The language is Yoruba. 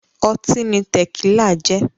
Ọtí ni Tẹ̀kílà jẹ́